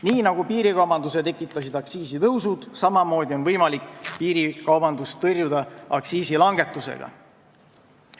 Nii nagu piirikaubanduse tekitas aktsiisitõus, samamoodi on võimalik piirikaubandust aktsiisilangetusega tõrjuda.